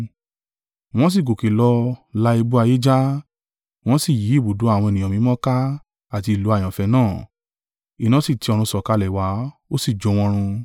Wọ́n sì gòkè lọ la ibú ayé já, wọ́n sì yí ibùdó àwọn ènìyàn mímọ́ ká àti ìlú àyànfẹ́ náà: iná sì ti ọ̀run sọ̀kalẹ̀ wá, ó sì jó wọn run.